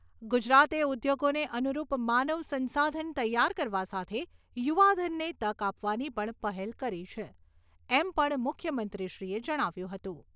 ગુજરાતે ઊદ્યોગોને અનુરૂપ માનવસંશાધન તૈયાર કરવા સાથે યુવાધનને તક આપવાની પણ પહેલ કરી છે એમ પણ મુખ્યમંત્રીશ્રીએ જણાવ્યું હતું.